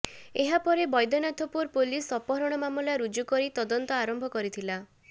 ଏହାପରେ ବୈଦ୍ୟନାଥପୁର ପୁଲିସ୍ ଅପହରଣ ମାମଲା ରୁଜୁ କରି ତଦନ୍ତ ଆରମ୍ଭ କରିଥିଲା